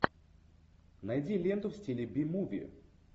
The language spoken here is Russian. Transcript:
найди ленту в стиле би муви